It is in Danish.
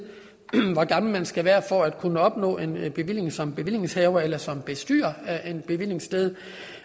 hvor gammel man skal være for at kunne opnå en en bevilling som bevillingshaver eller som bestyrer af et bevillingssted